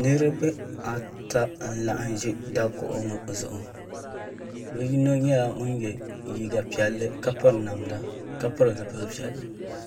Niriba ata n laɣim ʒi dakuɣu ŋɔ zuɣu bi yino nyɛla ŋun yɛ liiga piɛlli ka piri namda ka pili zipili piɛlli